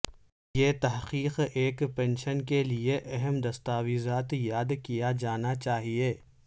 یہ تحقیق ایک پنشن کے لئے اہم دستاویزات یاد کیا جانا چاہئے